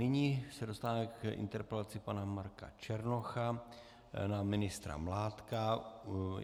Nyní se dostáváme k interpelaci pana Marka Černocha na ministra Mládka.